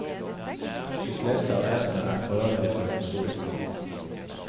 De fleste av æsene er forarget over historien.